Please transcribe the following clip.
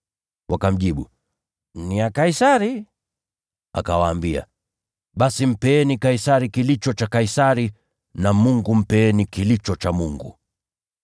Wakamjibu, “Ni vya Kaisari.” Akawaambia, “Basi mpeni Kaisari kilicho cha Kaisari, naye Mungu mpeni kilicho cha Mungu.”